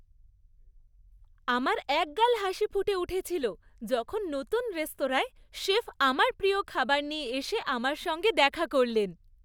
আমার এক গাল হাসি ফুটে উঠেছিল যখন নতুন রেস্তোরাঁর শেফ আমার প্রিয় খাবার নিয়ে এসে আমার সঙ্গে দেখা করলেন।